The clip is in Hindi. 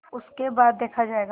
उसके बाद देखा जायगा